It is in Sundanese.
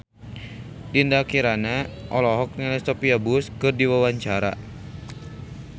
Dinda Kirana olohok ningali Sophia Bush keur diwawancara